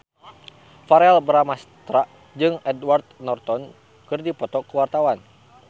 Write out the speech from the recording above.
Verrell Bramastra jeung Edward Norton keur dipoto ku wartawan